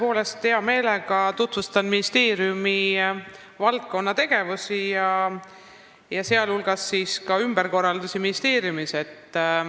Tõepoolest, hea meelega tutvustan ministeeriumi valdkonnategevusi, sh ministeeriumis tehtud ümberkorraldusi.